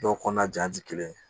Dɔw kɔnɔna ja tɛ kelen ye